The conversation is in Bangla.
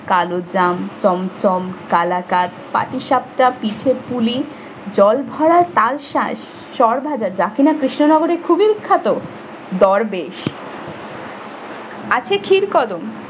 কালোজাম, চমচম, কালাকাত, পাটিসাপটা, পিঠে পুলি জল ভরা তালশাঁস সরভাজা যা কিনাকৃষ্ণনগরে খুবই বিখ্যাত, দরবেশ আছে ক্ষীর কদম